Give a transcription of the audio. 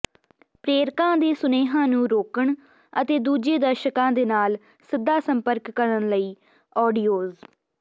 ਪ੍ਰੇਰਕਾਂ ਦੇ ਸੁਨੇਹਿਆਂ ਨੂੰ ਰੋਕਣ ਅਤੇ ਦੂਜੇ ਦਰਸ਼ਕਾਂ ਦੇ ਨਾਲ ਸਿੱਧਾ ਸੰਪਰਕ ਕਰਨ ਲਈ ਆਡੀਓਜ਼